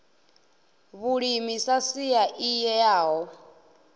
vhulimi sa sia i eaho